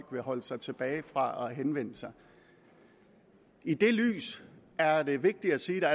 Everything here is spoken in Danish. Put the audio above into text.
vil holde sig tilbage fra at henvende sig i det lys er det vigtigt at sige at